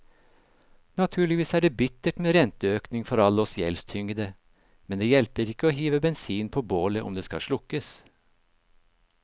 Naturligvis er det bittert med renteøkning for alle oss gjeldstyngede, men det hjelper ikke å hive bensin på bålet om det skal slukkes.